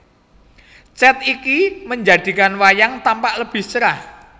Cat ini menjadikan wayang tampak lebih cerah